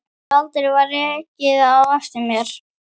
Aldrei var rekið á eftir.